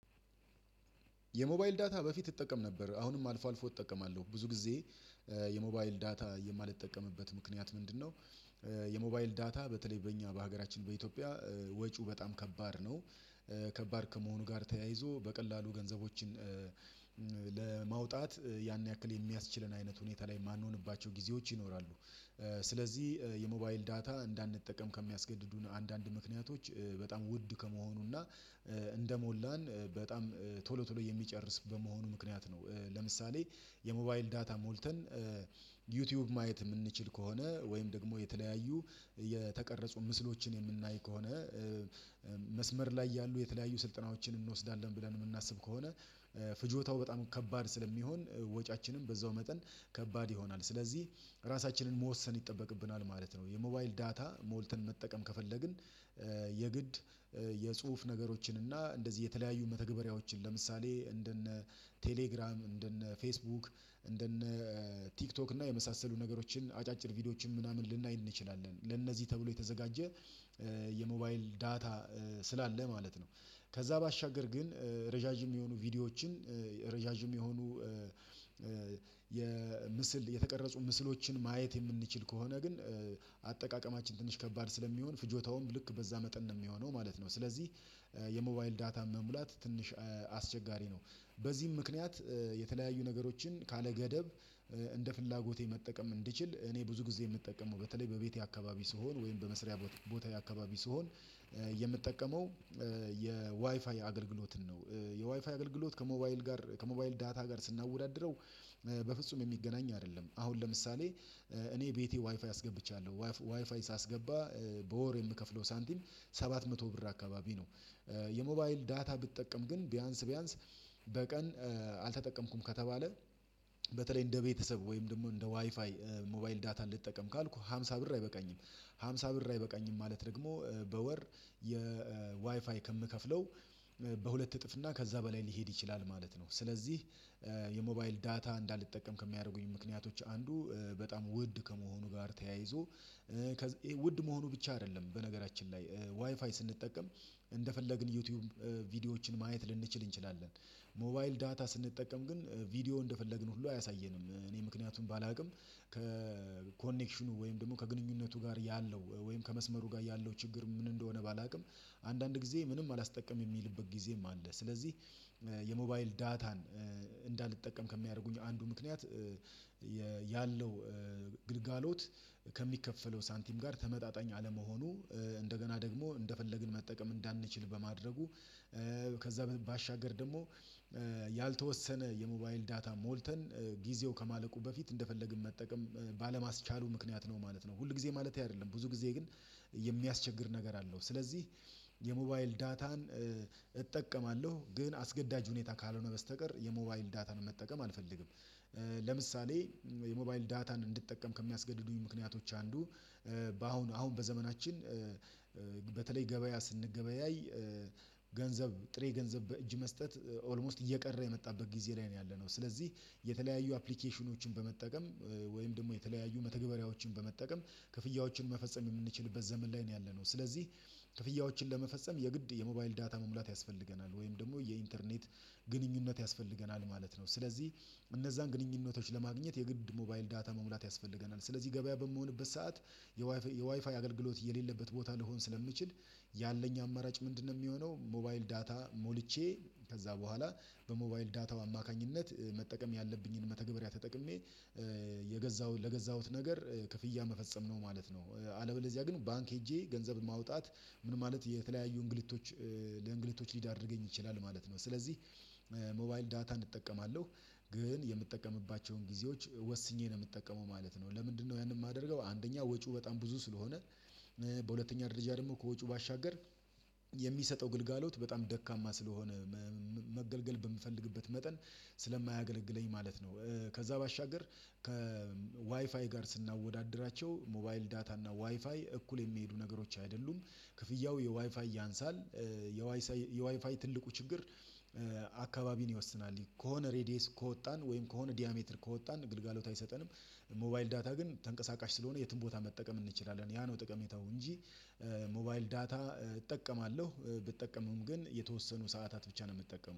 የሞባይል ዳታ በፊት እጠቀም ነበር አሁንም አልፎ አልፎ እጠቀማለሁ ብዙ ጊዜ የሞባይል ዳታ የማልጠቀምበት ምክንያት ምንድነው? የሞባይል ዳታ በተለይ በእኛ በሀገራችን በኢትዮጵያ ወጪው በጣም ከባድ ነው። ከባድ ከመሆኑ ጋር ተያይዞ በቀላሉ ገንዘቦችን ለማውጣት ያን ያክል የሚያስችለን አይነት ሁኔታ ላይ የማንሆንባቸው ጊዜዎች ይኖራሉ። ስለዚህ የሞባይል ዳታ እንዳንጠቀም ከሚያስገድዱን አንዳንድ ምክንያቶች በጣም ውድ ከመሆኑና እንደሞላን በጣም ቶሎ ቶሎ የሚጨርስ በመሆኑ ምክንያት ነው። ለምሳሌ የሞባይል ዳታ ሞልተን ዩቲዩብ ማየት እምንችል ከሆነ ወይም ደግሞ የተለያዩ የተቀረጹ ምስሎችን እምናይ ከሆነ መስመር ላይ ያሉ የተለያዩ ስልጠናዎችን እንወስዳለን ብለን እምናስብ ከሆነ ፍጆታው በጣም ከባድ ስለሚሆን ወጪያችንም በዛው መጠን ከባድ ይሆናል ስለዚህ ራሳችንን መወሰን ይጠበቅብናል ማለት ነው። የሞባይል ዳታ ሞልተን መጠቀም ከፈለግን የግድ የጽሁፍ ነገሮችን እና እንደዚህ የተለያዩ መተግበሪያዎችን ለምሳሌ እንደነ ቴሌግራም እንደነ ፌስቡክ እንደነ ቲክቶክ እና የመሳሰሉ ነገሮችን አጫጭር ቪዲዮዎችን ምናምን ልናይ እንችላለን ለነዚህ ተብሎ የተዘጋጀ የሞባይል ዳታ ስላለ ማለት ነው። ከዛ ባሻገር ግን ረዣዥም የሆኑ ቪዲዮዎችን የሆኑ የምስል የተቀረጹ ምስሎችን ማየት የምንችል ከሆነ ግን አጠቃቀማችን ትንሽ ከባድ ስለሚሆን ፍጆታውም ልክ በዛ መጠን ነው እሚሆነው ማለት ነው። ስለዚህ የሞባይል ዳታም መሙላት ትንሽ አስቸጋሪ ነው። በዚህም ምክንያት የተለያዩ ነገሮችን ካለገደብ እንደ ፍላጎቴ መጠቀም እንድችል እኔ ብዙ ጊዜ እምጠቀመው በተለይ በቤቴ አካባቢ ስሆን ወይም በመስሪያ ቦታ አካባቢ ስሆን የምጠቀመው የዋይፋይ አገልግሎትን ነው። የዋይፋይ አገልግሎት ከሞባይል ጋር ከሞባይል ዳታ ጋር ስናወዳድረው በፍጹም የሚገናኝ አይደለም። አሁን ለምሳሌ እኔ ቤቴ ዋይፋይ አስገብቻለሁ ዋይፋይ ሳስገባ በወር የምከፍለው ሳንቲም ሰባት መቶ ብር አካባቢ ነው። የሞባይል ዳታ ብጠቀም ግን ቢያንስ ቢያንስ በቀን አልተጠቀምኩም ከተባለ በተለይ እንደ ቤተሰብ ወይም ደግሞ እንደ ዋይፋይ ሞባይል ዳታ ልጠቀም ካልኩ ሃምሳ ብር አይበቃኝም ሃምሳ ብር አይበቃኝም። ማለት ደግሞ በወር የዋይፋይ ከምከፍለው በሁለት እጥፍ እና ከዛ በላይ ሊሄድ ይችላል ማለት ነው። ስለዚህ የሞባይል ዳታ እንዳልጠቀም ከሚያደርጉኝ ምክንያቶች አንዱ በጣም ውድ ከመሆኑ ጋር ተያይዞ ውድ መሆኑ ብቻ አይደለም። በነገራችን ላይ ዋይፋይ ስንጠቀም እንደፈለግን ዩቲዩብ ማየት ልንችል እንችላለን ሞባይል ዳታ ስንጠቀም ግን ቪዲዮ እንደፈለግን ሁሉ አያሳየንም እኔ ምክንያቱም ባላውቅም ከኮኔክሽኑ ወይም ደግሞ ከግንኙነቱ ጋር ያለው ወይም ከመስመሩ ጋር ያለው ችግር ምን እንደሆነ ባላውቅም አንዳንድ ጊዜ ምንም አላስጠቀምም የሚልበት ጊዜም አለ። ስለዚህ የሞባይል ዳታን እንዳልጠቀም ከሚያደርጉኝ አንዱ ምክንያት ያለው ግልጋሎት ከሚከፈለው ሳንቲም ጋር ተመጣጣኝ አለመሆኑ እንደገና ደግሞ እንደፈለግን መጠቀም እንዳንችል በማድረጉ ከዛ ባሻገር ደግሞ ያልተወሰነ የሞባይል ዳታ ሞልተን ጊዜው ከማለቁ በፊት እንደፈለግን መጠቀም ባለማስቻሉ ምክንያት ነው ማለት ነው። ሁል ጊዜ ማለቴ አይደለም ብዙ ጊዜ ግን የሚያስቸግር ነገር አለው ስለዚህ የሞባይል ዳታን እጠቀማለሁ ግን አስገዳጅ ሁኔታ ካልሆነ በስተቀር የሞባይል ዳታን መጠቀም አልፈልግም። ለምሳሌ የሞባይል ዳታን እንድትጠቀም ከሚያስገድዱኝ ምክንያቶች አንዱ በአሁን አሁን በዘመናችን በተለይ ገበያ ስንገበያይ ገንዘብ ጥሬ ገንዘብ በእጅ መስጠት ኦልሞስት እየቀረ የመጣበት ጊዜ ላይ ነው ያለነው ስለዚህ የተለያዩ አፕሊኬሽኖችን በመጠቀም ወይም ደግሞ የተለያዩ መተግበሪያዎችን በመጠቀም ክፍያዎችን መፈጸም የምንችልበት ዘመን ላይ ነው ያለነው። ስለዚህ ክፍያዎችን ለመፈጸም የግድ የሞባይል ዳታ መሙላት ያስፈልገናል ወይም ደግሞ የኢንተርኔት ግንኙነት ያስፈልገናል ማለት ነው። ስለዚህ እነዛን ግንኙነቶች ለማግኘት የግድ ሞባይል ዳታ መሙላት ያስፈልገናል ስለዚህ ገበያ በምሆንበት ሰዓት የዋይፋይ አገልግሎት የሌለበት ቦታ ልንሆን ስለምንችል ያለኝ አማራጭ ምንድነው? የሚሆነው ሞባይል ዳታ ሞልቼ ከዛ በኋላ በሞባይል ዳታው አማካኝነት መጠቀም ያለብኝን መተግበሪያ ተጠቅሜ የገዛሁት ለገዛሁት ነገር ክፍያ መፈጸም ነው ማለት ነው። አለበለዚያ ግን ባንክ ሄጄ ገንዘብ ማውጣት ምን ማለት የተለያዩ እንግሊቶች ለእንግሊቶች ሊዳርገኝ ይችላል ማለት ነው። ስለዚህ ሞባይል ዳታ እጠቀማለሁ ግን የምጠቀምባቸውን ጊዜዎች ወስኜ ነው የምጠቀመው ማለት ነው። ለምንድነው ያንን የማደርገው አንደኛ ወጪው በጣም ብዙ ስለሆነ በሁለተኛ ደረጃ ደግሞ ከወጪው ባሻገር የሚሰጠው ግልጋሎት በጣም ደካማ ስለሆነ መገልገል በምፈልግበት መጠን ስለማያገለግለኝ ማለት ነው። ከዛ ባሻገር ከዋይፋይ ጋር ስናወዳድራቸው ሞባይል ዳታ እና ዋይፋይ እኩል የሚሄዱ ነገሮች አይደሉም። እንደፈለግን ዩቲዩብ ቪዲዎችን ማየት ልንችል እንችላለን ሞባይል ዳታ ስንጠቀም ግን ቪዲዮ እንደፈለግን ሁሉ አያሳየንም። እኔ ምክንያቱም ባላውቅም ከኮኔክሽኑ ወይም ደግሞ ከግንኙነቱ ጋር ያለው ወይም ከመስመሩ ጋር ያለው ችግር ምን እንደሆነ ባላውቅም አንዳንድ ጊዜ ምንም አላስጠቀምም እሚልበት ጊዜም አለ ስለዚህ የዋይፋይ ትልቁ ችግር አካባቢን ይወስናል ከሆነ ሬዲየስ ከወጣን ወይም ከሆነ ዲያሜትድ ከወጣን ግልጋሎት አይሰጠንም። ሞባይል ዳታ ግን ተንቀሳቃሽ ስለሆነ የትም ቦታ መጠቀም እንችላለን ያ ነው ጥቅሜታው እንጂ። ሞባይል ዳታ እጠቀማለሁ ብጠቀምም ግን የተወሰኑ ሰዓታት ብቻ ነው የምጠቀመው